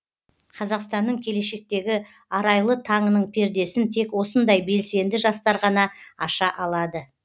қазақстанның келешектегі арайлы таңының пердесін тек осындай белсенді жастар ғана аша алады